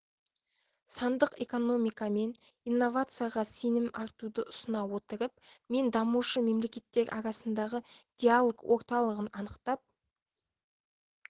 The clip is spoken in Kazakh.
сандық экономика мен инновацияға сенім артуды ұсына отырып мен дамушы мемлекеттер арасындағы диалог орталығын анықтап